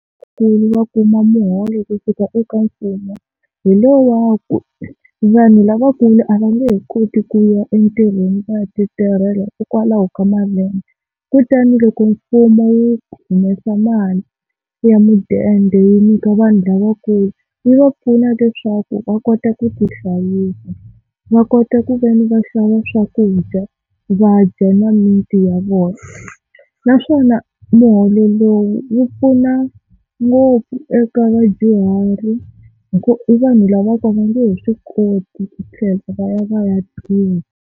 Ku va va kuma muholo kusuka eka mfumo hi lo waku vanhu lavakulu a va nge he koti ku ya entirhweni va ya titirhela hikwalaho ka malembe, kutani loko mfumo wu humesa mali ya mudende wu nyika vanhu lavakulu yi va pfuna leswaku va kota ku tihlayisa, va kota ku veni va xava swakudya va dya na mimiti ya vona. Naswona muholo lowu wu pfuna ngopfu eka vadyuhari hi ku i vanhu lava ku va nge he swi koti ku tlhela va ya va ya tirha.